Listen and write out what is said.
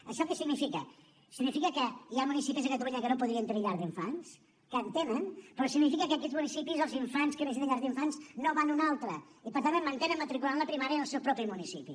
això què significa significa que hi ha municipis a catalunya que no podrien tenir llar d’infants que en tenen però significa que en aquests municipis els infants que necessiten llars d’infants no van a un altre i per tant et mantenen matricular en la primària en el seu propi municipi